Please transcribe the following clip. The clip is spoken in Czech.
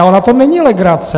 Ale ona to není legrace!